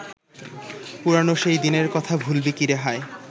পুরানো সেই দিনের কথা ভুলবি কিরে হায়